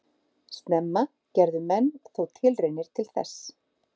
Snemma gerðu menn þó tilraunir til þess.